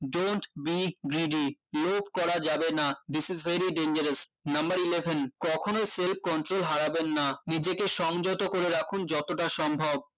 don't be greedy লোভ করা যাবে না this is very dangerous number eleven কখনোই self control হারাবেন না নিজেকে সংযত করে রাখুন যতটা সম্ভব